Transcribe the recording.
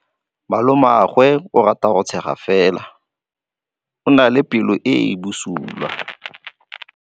Malomagwe o rata go tshega fela o na le pelo e e bosula.